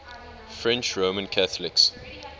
french roman catholics